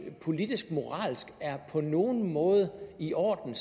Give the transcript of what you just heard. politisk moralsk på nogen måde er i orden